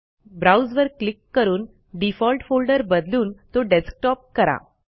browse वर click करून default folder बदलून तो डेस्कटॉप करा